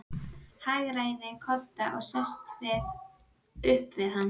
Hagræðir kodda og sest upp við hann.